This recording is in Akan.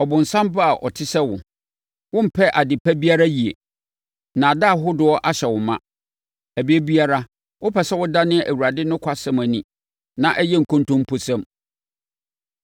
“Ɔbonsam ba a ɔte sɛ wo! Wommpɛ ade pa biara yie. Nnaadaa ahodoɔ ahyɛ wo ma. Ɛberɛ biara, wopɛ sɛ wodane Awurade nokwasɛm ani ma ɛyɛ nkontomposɛm!